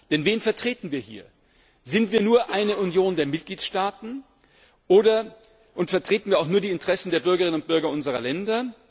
Denn wen vertreten wir hier? Sind wir nur eine Union der Mitgliedstaaten und vertreten wir nur die Interessen der Bürgerinnen und Bürger unserer Länder?